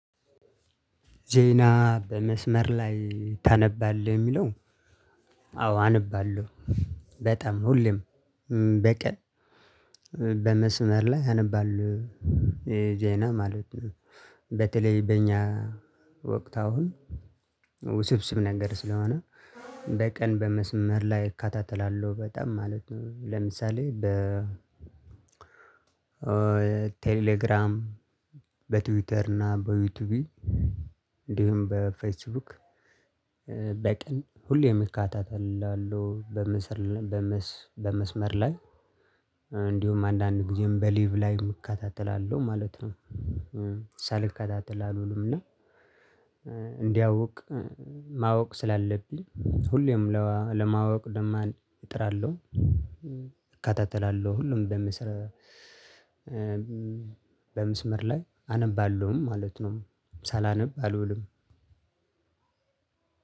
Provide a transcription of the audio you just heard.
ዜና በመስመር ላይ ታነባለህ? የሚለው አዎ አነባለሁ። በጣም ሁሌም በቀን በመስመር ላይ አነባለው የዜና ዜና ማለት ነው። በተለይ በእኛ ወቅት አሁን ውስብስብ ነገር ስለሆነ በቀን በመስመር ላይ እከታተላለሁ በጣም ማለት ነው። ለምሳሌ በ ቴሌግራም በትዊተር እና በዩቲዩብ እንዲሁም በፌስቡክ በቀን ሁሌም እከታተላለሁ በመስመር በመስመር ላይ እንዲሁም አንዳንድ ጊዜም በሊቭ ላይቭ እከታተላለሁ ማለት ነው። ሳልከታተል አልውልም እና እንዳያውቅ ማወቅ ስላለብኝ ሁሌም ለማወቅ ልማር እጥራለሁ። እከታተላለሁ ሁሉም በምስራ በመስመር ላይ አነባለሁም ማለት ነው። ሳላነብ አልውልም።